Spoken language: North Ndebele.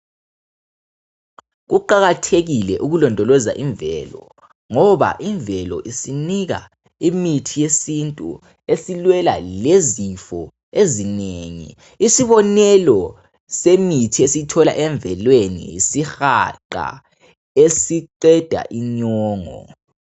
Kuqakathekile ukulondoloza imvelo ngoba imvelo isinika imithi yesintu esilwela lezifo ezinengi isibonelo semithi esiyithola emvelweni yisihaqa esiqeda inyongo .